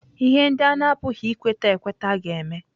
ihe ndị a na-apụghị ikweta ekweta ga-eme.